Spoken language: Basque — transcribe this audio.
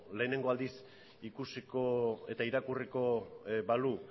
lehenengo aldiz ikusiko eta irakurriko balu